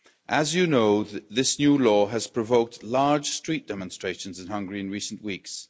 As you know, this new law has provoked large street demonstrations in Hungary in recent weeks.